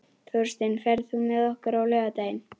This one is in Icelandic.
Þórsteinn, ferð þú með okkur á laugardaginn?